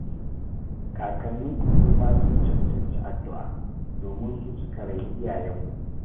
Kakanninku suma sun cancanci addu'a, domin su suka raini iyayenku